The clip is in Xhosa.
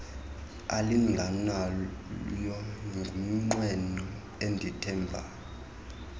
alinganayo ngumnqweno endithemba